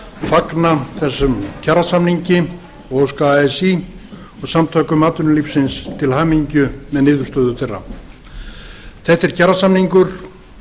fagna þessum kjarasamningi og óska así og samtökum atvinnulífsins til hamingju með niðurstöður þeirra þetta er kjarasamningur